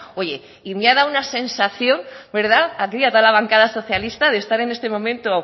oye y me ha dado una sensación aquí a toda la bancada socialista de estar en este momento